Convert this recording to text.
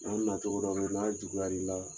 An nacogo dɔw bɛ yen n'a juguyar'i la